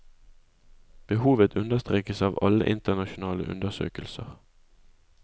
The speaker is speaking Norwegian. Behovet understrekes av alle internasjonale undersøkelser.